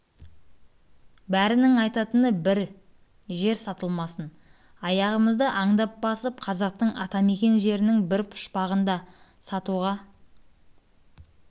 бәрінің айтатыны бір жер сатылмасын аяғымызды аңдап басып қазақтың атамекен жерінің бір пұшпағын да сатуға